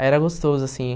Aí, era gostoso, assim.